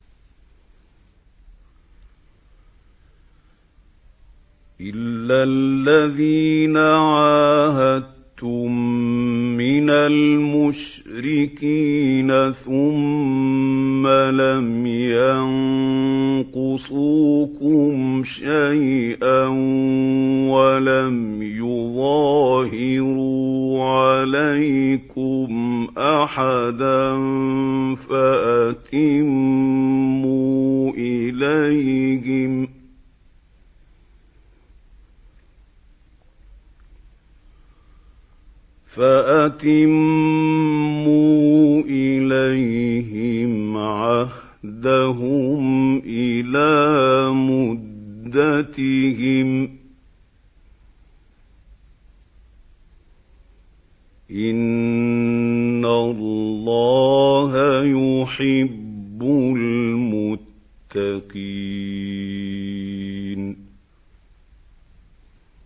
إِلَّا الَّذِينَ عَاهَدتُّم مِّنَ الْمُشْرِكِينَ ثُمَّ لَمْ يَنقُصُوكُمْ شَيْئًا وَلَمْ يُظَاهِرُوا عَلَيْكُمْ أَحَدًا فَأَتِمُّوا إِلَيْهِمْ عَهْدَهُمْ إِلَىٰ مُدَّتِهِمْ ۚ إِنَّ اللَّهَ يُحِبُّ الْمُتَّقِينَ